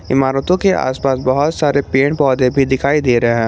इमारतो के आसपास बहोत सारे पेड़ पौधे भी दिखाई दे रहे--